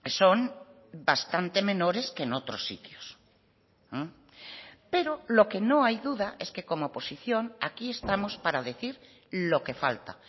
son bastante menores que en otros sitios pero lo que no hay duda es que como oposición aquí estamos para decir lo que falta